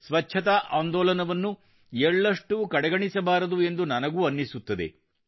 ಸ್ವಚ್ಛತಾ ಆಂದೋಲನವನ್ನು ಎಳ್ಳಷ್ಟೂ ಕಡೆಗಣಿಸಬಾರದು ಎಂದು ನನಗೂ ಅನ್ನಿಸುತ್ತದೆ